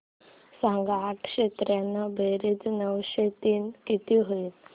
सांग आठशे त्र्याण्णव बेरीज नऊशे तीन किती होईल